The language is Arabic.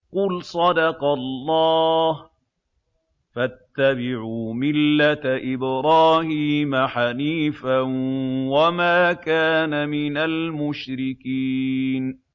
قُلْ صَدَقَ اللَّهُ ۗ فَاتَّبِعُوا مِلَّةَ إِبْرَاهِيمَ حَنِيفًا وَمَا كَانَ مِنَ الْمُشْرِكِينَ